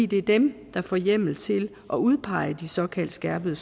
det er dem der får hjemmel til at udpege de såkaldte skærpet